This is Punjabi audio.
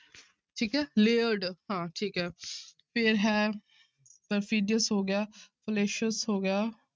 ਠੀਕ ਹੈ layered ਹਾਂ ਠੀਕ ਹੈ ਫਿਰ ਹੈ perfidious ਹੋ ਗਿਆ fallacious ਹੋ ਗਿਆ।